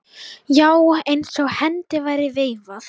Já, eins og hendi væri veifað.